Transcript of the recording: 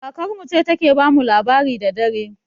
Kakar mu ce ta ke ba mu labari da dare